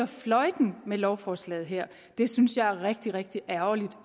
fløjten med lovforslaget her det synes jeg er rigtig rigtig ærgerligt